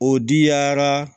O diyara